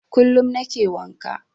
Kullum nake wanka.